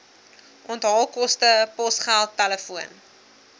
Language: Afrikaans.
onthaalkoste posgeld telefoon